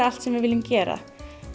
allt sem við viljum gera